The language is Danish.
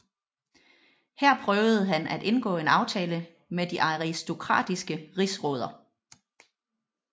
Her prøvede han at indgå en aftale med de aristokratiske rigsråder